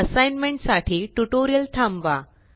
assignment साठी tutorial थांबवा